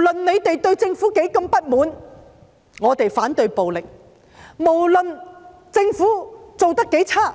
即使對政府有多麼不滿，我們要反對暴力，無論政府做得多麼差勁，